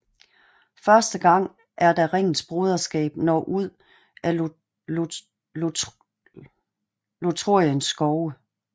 Første gang er da Ringens broderskab når ud af Lothloriens skove